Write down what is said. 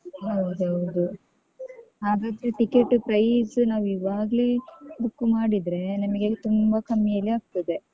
ಹೌದೌದು. ಹಾಗಾದ್ರೆ ticket price ನಾವಿವಾಗ್ಲೆ book ಮಾಡಿದ್ರೆ, ನಮಗೆ ತುಂಬ ಕಮ್ಮಿಯಲ್ಲಿ ಆಗ್ತದೆ.